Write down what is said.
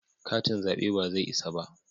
Katin zabe ba zai isa ba